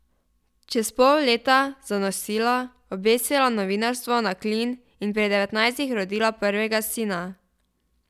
Čez pol leta zanosila, obesila novinarstvo na klin in pri devetnajstih rodila prvega sina.